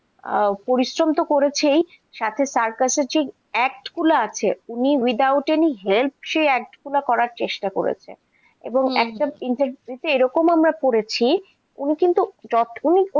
আহ পরিশ্রমতো করেছেই, সাথে circus এর যে act গুলা আছে, উনি without any help সে act গুলো করার চেষ্টা করেছে, এবং একটা interview তে এইরকম আমরা পড়েছি উনি কিন্তু যথেষ্ট